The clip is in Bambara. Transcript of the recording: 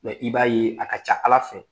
Mɛ i b'a ye a ka ca ala fɛ